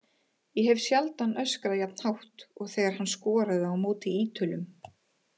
Hef sjaldan öskrað jafn hátt og þegar hann skoraði á móti Ítölum.